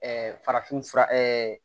farafinfura